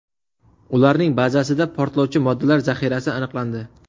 Ularning bazasida portlovchi moddalar zaxirasi aniqlandi.